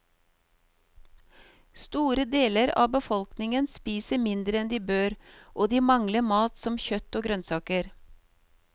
Store deler av befolkningen spiser mindre enn de bør, og de mangler mat som kjøtt og grønnsaker.